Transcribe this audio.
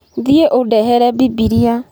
Thiĩ ũndehere Bibilia.